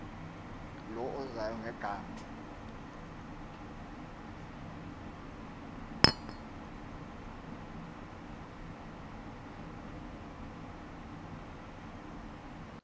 low uzayo ngegama